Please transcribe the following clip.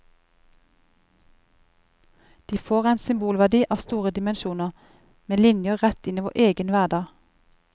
De får en symbolverdi av store dimensjoner, med linjer rett inn i vår egen hverdag.